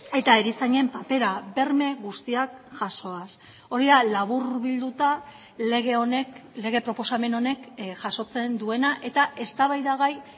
eta erizainen papera berme guztiak jasoaz hori da laburbilduta lege honek lege proposamen honek jasotzen duena eta eztabaidagai